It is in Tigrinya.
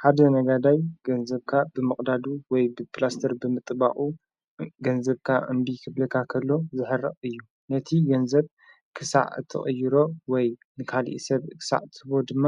ሓደ ነጋዳይ ገንዘብካ ብመቕዳዱ ወይ ብጵላስተር ብምጥባቑ ገንዘብካ እምቢ ኽብልካኸሎ ዘሀርቕ እዩ ነቲ ገንዘብ ክሳዕ እትቕይሮ ወይ ንካልእ ሰብ ክሳዕ ትቦ ድማ